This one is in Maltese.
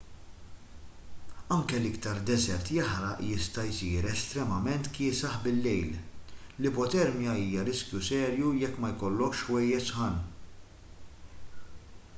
anki l-iktar deżert jaħraq jista' jsir estremament kiesaħ bil-lejl l-ipotermja hija riskju serju jekk ma jkollokx ħwejjeġ sħan